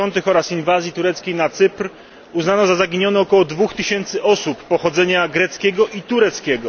60. oraz inwazji tureckiej na Cypr uznano za zaginione około dwóch tysięcy osób pochodzenia greckiego i tureckiego.